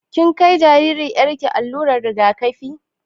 Kin kai jaririyar ki allurar rigakafi?